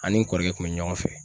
An ni kɔrɔkɛ kun be ɲɔgɔn fɛ.